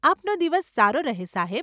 આપનો દિવસ સારો રહે સાહેબ.